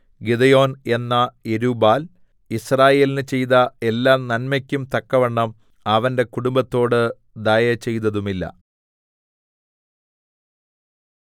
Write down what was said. Gideon എന്ന Jerubbaal യിസ്രായേലിന് ചെയ്ത എല്ലാനന്മെക്കും തക്കവണ്ണം അവന്റെ കുടുംബത്തോട് ദയ ചെയ്തതുമില്ല